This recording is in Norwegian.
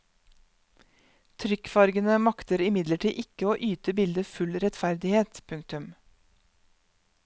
Trykkfargene makter imidlertid ikke å yte bildet full rettferdighet. punktum